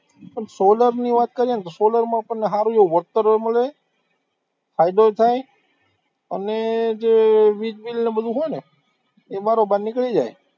આમ solar ની વાત કરીએ ને તો solar માં આપણને સારું એવું વળતર ય મળે ફાયદો થાય અને જે વીજબિલ ને બધું હોય ને એ બારોબાર નીકળી જાય